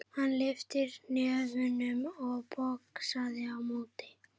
Hann lyfti hnefunum og boxaði á móti.